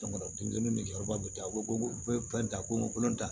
Jamana denmisɛnnin bɛ jɔ yɔrɔba bɛ ta ko ta ko kolon ta